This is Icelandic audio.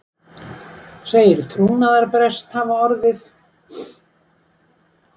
Segir trúnaðarbrest hafa orðið